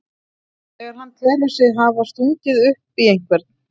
þegar hann telur sig hafa stungið upp í einhvern.